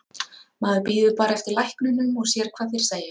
Maður bíður bara eftir læknunum og sér hvað þeir segja.